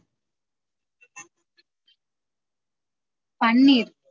பன்னீர்